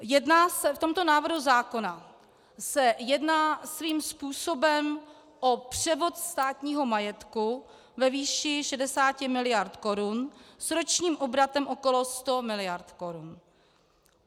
V tomto návrhu zákona se jedná svým způsobem o převod státního majetku ve výši 60 miliard korun s ročním obratem okolo 100 miliard korun.